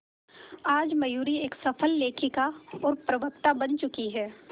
आज मयूरी एक सफल लेखिका और प्रवक्ता बन चुकी है